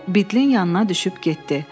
Bu Bitlin yanına düşüb getdi.